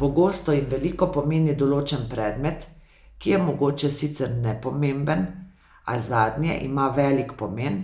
Pogosto jim veliko pomeni določen predmet, ki je mogoče sicer nepomemben, a zadnje ima velik pomen,